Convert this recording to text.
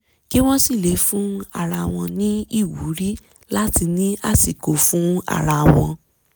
kí wọ́n sìlè fún ara wọn ní ìwúrí láti ní àsìkò fún ara wọn